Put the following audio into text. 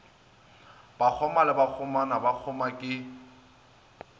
bakgoma le bakgomana bakgoma ke